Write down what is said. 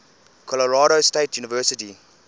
colorado state university